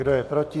Kdo je proti?